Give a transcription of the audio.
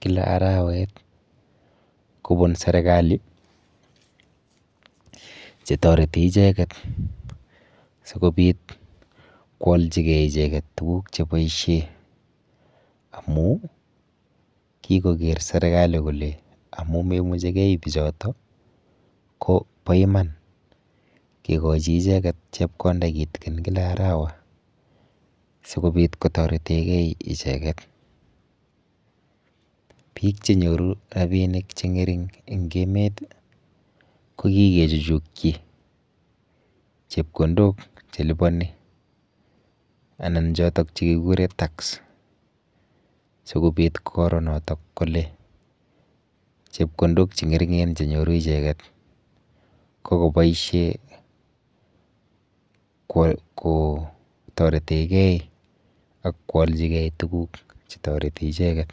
kila arawet kobun serikali chetoreti icheket sikobit koalchigei icheket tuguk cheboishe amu kikoker serikali kole amu maimuchihgei icheket ko po iman kekochi icheket chepkonda kitikin kila arawa sikobit kotoretegei icheket. Biik chenyoru rapiinik cheng'ering eng emet ko kikechuchukchi chepkondok cheliponi anan chotok chekikure tax sikobit koro notok kole chepkondok cheng'ering'en chenyoru icheket ko koboishe kotoretegei akwolchigei tuguk chetoreti icheket.